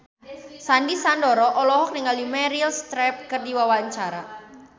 Sandy Sandoro olohok ningali Meryl Streep keur diwawancara